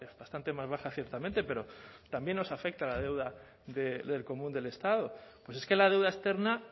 bastante más baja ciertamente pero también nos afecta la deuda del común del estado pues es que la deuda externa